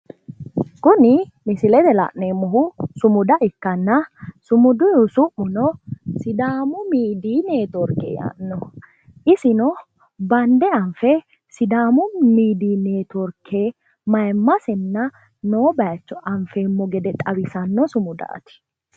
Kuni misilete la'neemmohu sumuda ikkanna sumuduyiihu su'muno sidaamu midiiyi netiworke yaannoho isino bande anfe sidaamu midiiyi netiworke mayiimmasenna noo bayiicho anfeemmo gede xawisanno sumudaati